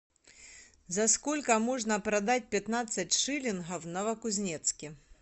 за сколько можно продать пятнадцать шиллингов в новокузнецке